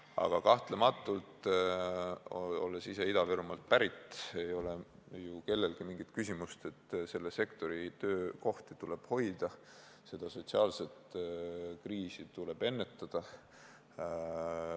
Aga kahtlematult ei ole ju kellelgi mingit küsimust, et selle sektori töökohti tuleb hoida, sotsiaalset kriisi tuleb ennetada.